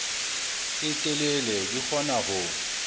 e telele di kgona ho